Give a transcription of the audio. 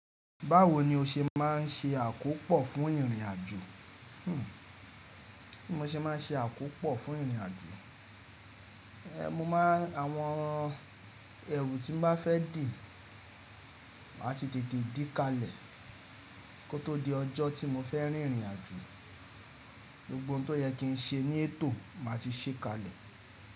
Báwo ni o ṣe máa ń ṣe àkópọ̀ fún ìrìnàjò? Hmmm, bí mo ṣe máa ń ṣe àkópọ̀ fún ìrìnàjò. Ehn, mo máa, àwọn ẹrù tí m bá fẹ́ dì, màá ti tètè dì kalè kótó di ọjọ́ tí mo fẹ́ rìnrìn àjò. Gbogbo ohun tó yẹ kí n ṣe ní ètò màá ti ṣe kalè.